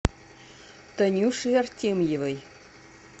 танюши артемьевой